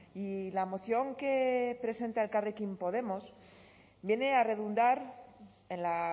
y la moción que presenta elkarrekin podemos viene a redundar en la